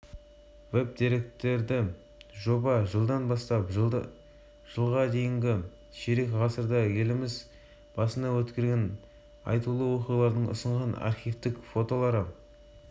астанамыз тарихын үлкен аудиторияға жеткізудің тиімді тәсілі ретінде таңдап алдық тәуелсіздіктің жылында елбасымыз нұрсұлтан назарбаевтың